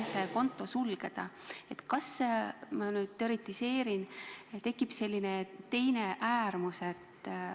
Ma nüüd teoretiseerin, aga kas on tekkinud selline teine äärmus?